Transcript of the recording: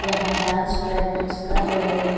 यहाँ dance practice कर रहे हैं।